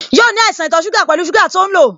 Yóò ní àìsàn ito suga pẹlu sugar to ń lo